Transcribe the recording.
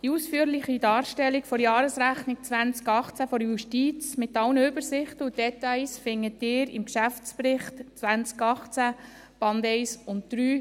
Die ausführliche Darstellung der Jahresrechnung 2018 der Justiz mit allen Übersichten und Details finden Sie im Geschäftsbericht 2018, Band 1 und 3.